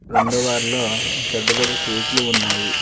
రెండో వార్లో పెద్ద పెద్ద కేకులు ఉన్నాయి.